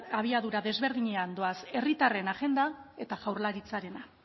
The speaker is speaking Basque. abiadura desberdinean doaz herritarren agenda eta jaurlaritzarena